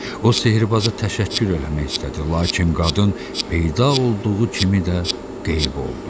O sehrbaza təşəkkür eləmək istədi, lakin qadın peyda olduğu kimi də qeyb oldu.